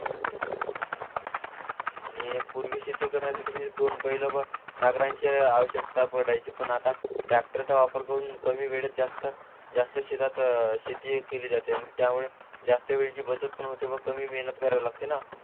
आणि करण्यासाठी म्हणजे दोन बैल नागरांची आवश्यकता पडायची पण आता ट्रॅक्टरचा वापर करून जास्त जास्त शेती केली जाते त्यांनी त्यावेळेस अशा वेळेची बचत पण होते आणि कमी मेहनत करावी लागते ना